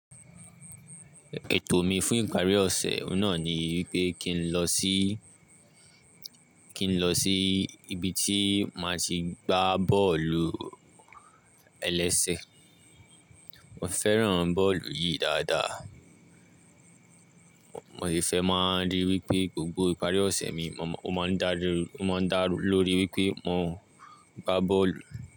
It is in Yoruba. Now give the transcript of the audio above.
Ètò mi fún ìparí ọ̀sẹ̀ náà ni wípé kín lọ sí, kín lọ sí ibi tí máa ti gbá bọ́ọ̀lù-ẹlẹ́sẹ̀. Mo fẹ́ràn bọ́ọ̀lù yìí dáadáa. Mo lè fẹ́ máa ríi wípé gbogbo ìparí ọ̀sẹ̀ mi, mo máa ń darí, ó máa ń dá lórí wípé mo ń gbá bọ́ọ̀lù.